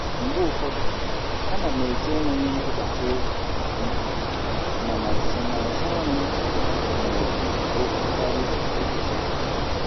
Mgbe ụfọdụ, ana m eche enweghị ntụkwasị obi ihu, mana nsonaazụ ọrụ m na-ekwu okwu karịa echiche ọha.